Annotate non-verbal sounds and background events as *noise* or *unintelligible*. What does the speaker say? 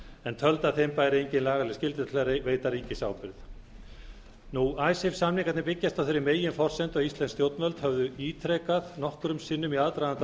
en töldu að þeim bæri engin lagaleg skylda til að veita ríkisábyrgð *unintelligible* samningarnir byggjast á þeirri meginforsendu að íslensk stjórnvöld höfðu ítrekað nokkrum sinnum í aðdraganda